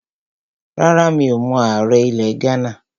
Rárá, mi ò mọ ààrẹ ilẹ̀ Ghánà